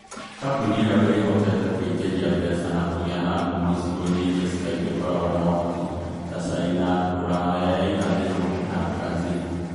Kambuni ĩyo ĩĩhokete kũingĩria mbeca na kũgĩa na ngumo icigo-inĩ iria Skype ĩkoragwo na ũhoti, ta China, Rũraya ya Irathĩro, na Brazil.